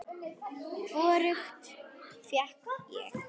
Hvorugt fékk ég.